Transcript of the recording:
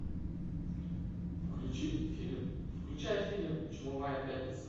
включи фильм включай фильм чумовая пятница